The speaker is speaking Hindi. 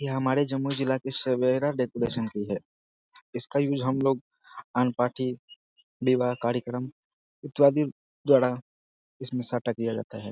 यह हमारे जम्मू जिला के सवेरा डेकोरेशन की है इसका यूज़ हम लोग लॉन पार्टी विवाह कार्यक्रम इत्यादि द्वारा साटा किया जाता है।